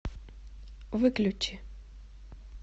выключи